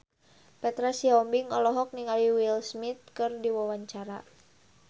Petra Sihombing olohok ningali Will Smith keur diwawancara